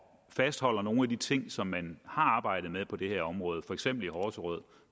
fastholder nogle af de ting som man har arbejdet med på det her område for eksempel i horserød